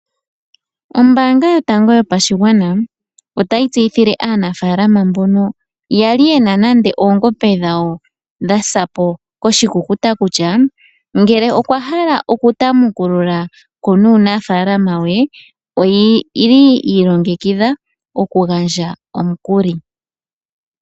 Ombaanga yotango yopashigwana otayi tseyithile aanafaalama mbono yali yena oongombe dhawo dha sapo ko shikukuta kutya, ngele oya hala oku tamukululako nuunafalama wawo, oyili yi ilongekidha oku gandja omukuli.